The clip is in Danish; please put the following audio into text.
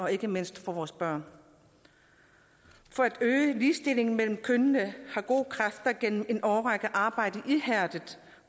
ikke mindst for vores børn for at øge ligestillingen mellem kønnene har gode kræfter gennem en årrække arbejdet ihærdigt